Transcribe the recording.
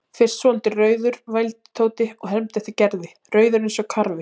Fyrst svolítið rauður vældi Tóti og hermdi eftir Gerði, rauður eins og karfi.